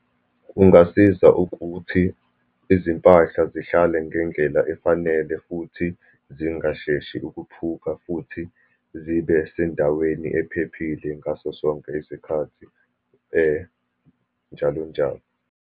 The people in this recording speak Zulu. Kungasiza ukuthi izimpahla zihlale ngendlela efanele, futhi zingasheshi ukuphuka, futhi zibe sendaweni ephephile ngaso sonke isikhathi njalo njalo.